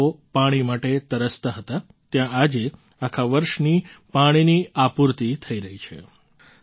જ્યાં લોકો પાણી માટે તરસતા હતા ત્યાં આજે આખા વર્ષની પાણીની આપૂર્તિ થઈ રહી છે